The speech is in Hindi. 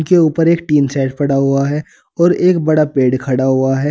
इस के ऊपर एक टिन शैड पड़ा हुआ है और एक बड़ा पेड़ खड़ा हुआ है।